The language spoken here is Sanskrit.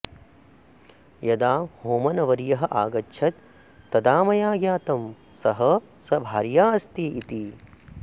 यदा होमनवर्यः आगच्छत् तदा मया ज्ञातं सः सभार्या अस्ति इति